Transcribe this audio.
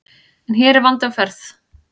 En hér er vandi á ferð.